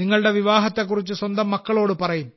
നിങ്ങളുടെ വിവാഹത്തെക്കുറിച്ച് സ്വന്തം മക്കളോട് പറയും